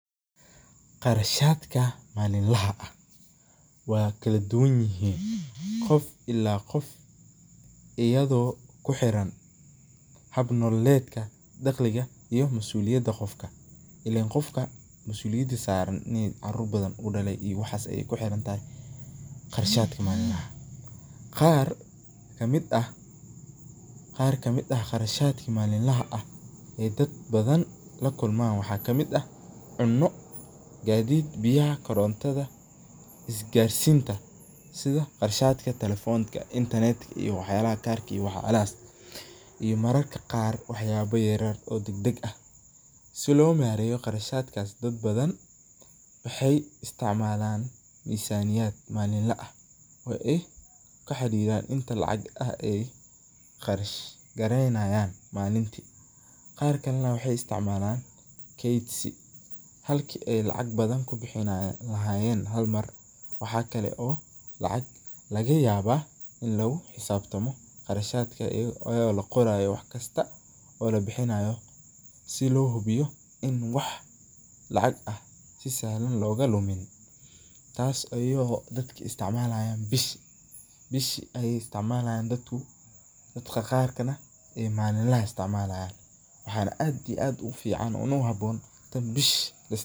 Qarshatka malinlaha , wa kaladunyahin Qoof ila Qoof eyado kuxiran habnololetka daqhalika iyo masulinimath Qoofka ilen Qoofka masuliyada saran inu carur bathan u dalay waxas Aya kuxirantahay qarshatka malinlaha, Qaar kamit aah qarshatka malinlaha ee dadka bathan lakulman waxakamit aah cuno katheet biyaha korontotha iskarsintaa iyo qarshatka talephonka internet iyo waxyalaha karka iyo waxyalaha iyo mararka qaar waxyala yaryar oo degdeg aah, si lo mareyoh qarashtkas bathan waxay isticmalan misaniyat Malin laa aah oo eh kuxarirah inta lacag ay qarashkareynayan inta malinta qaarkali waxay isticmalan keetsi halki ee lacag bathan kubixini lahayen Hal mar waxakali oo lacag lagayabah ini lagu xesabtamo qarshatka ayako la qorayoh waxkasto oo labixinayoh si lo hubiyoh in waxkasto sahlan lokalumin taas ayako dadka isticmalayan bishi Aya isticmalayan dadku Qaar ee malinlaha istmalayan waxana aad u fican taan bisha.